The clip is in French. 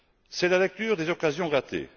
C'est la lecture des occasions ratées.